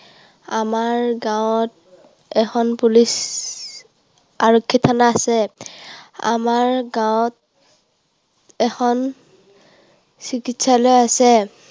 আমাৰ গাঁৱত এখন police, আৰক্ষী থানা আছে। আমাৰ গাঁৱত এখন চিকিৎসালয় আছে।